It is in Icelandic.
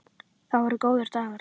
Það voru góðir dagar.